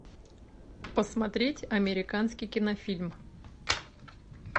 посмотреть американский кинофильм